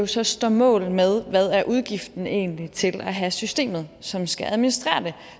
så står mål med hvad udgiften egentlig er til at have systemet som skal administrere den